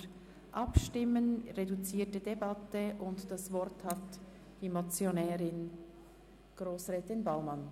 Wir führen eine reduzierte Debatte, und das Wort hat die Motionärin, Grossrätin Baumann.